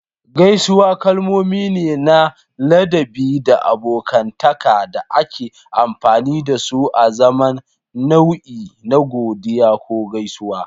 Gaisuwa kalmomi ne na ladabi da abokantaka da ake amfani da su azaman nau'i na godiya ko gaisuwa.